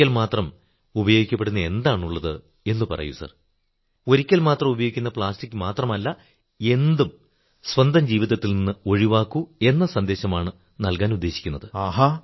ഒരിക്കൽ മാത്രം ഉപയോഗിക്കപ്പെടുന്ന എന്താണുള്ളത് എന്നു പറയൂ ഒരിക്കൽ മാത്രം ഉപയോഗിക്കുന്ന പ്ലാസ്റ്റിക് മാത്രമല്ല എന്തും സ്വന്തം ജീവിതത്തിൽ നിന്ന് ഒഴിവാക്കൂ എന്ന സന്ദേശമാണ് നല്കാനുദ്ദേശിക്കുന്നത്